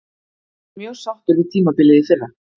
Ég er mjög sáttur við tímabilið í fyrra.